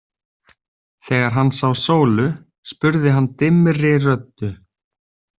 Þegar hann sá Sólu spurði hann dimmri röddu.